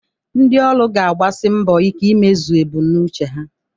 Ndị ọrụ ga-agbasi mbọ ike imezu ebumnuche ha.